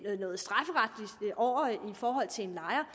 forhold til en lejer